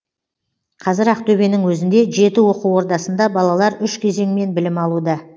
қазір ақтөбенің өзінде жеті оқу ордасында балалар үш кезеңмен білім алуда